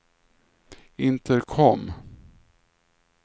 intercom